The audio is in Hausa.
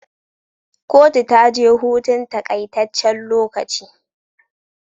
Kotu taje hutun takai tacen lokaci